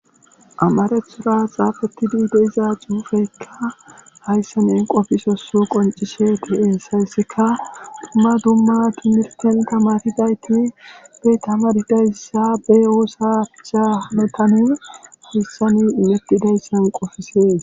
amarethura xaafetidi de'iza xuufeykka hayssan qofisosso qoncishe hesika dumma dumma timirten tamaridayti be tama didayssa be oosacha metani hayssani imettidayssan qofisees